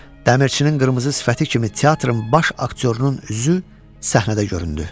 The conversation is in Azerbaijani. Dəmirçinin qırmızı sifəti kimi teatrın baş aktyorunun üzü səhnədə göründü.